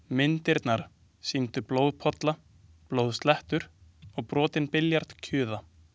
Myndirnar sýndu blóðpolla, blóðslettur og brotinn billjard kjuða.